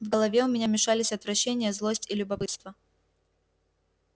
в голове у меня мешались отвращение злость и любопытство